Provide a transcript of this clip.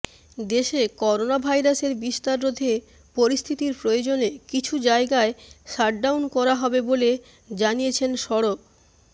দেশে করোনাভাইরাসের বিস্তার রোধে পরিস্থিতির প্রয়োজনে কিছু জায়গায় শাটডাউন করা হবে বলে জানিয়েছেন সড়